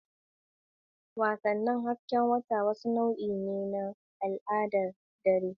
Wasannin hasken wata wani nau'i ne na al'adar dare.